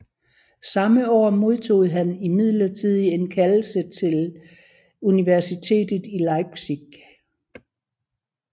Samme år modtog han imidlertid en kaldelse til universitetet i Leipzig